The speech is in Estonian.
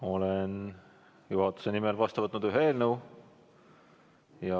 Olen juhatuse nimel vastu võtnud ühe eelnõu.